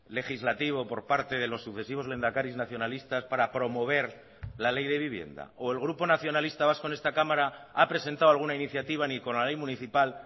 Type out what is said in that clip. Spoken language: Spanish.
legislativo por parte de los sucesivos lehendakaris nacionalistas para promover la ley de vivienda o el grupo nacionalista vasco en esta cámara ha presentado alguna iniciativa ni con la ley municipal